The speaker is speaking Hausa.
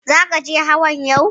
Zaka je hawan yau?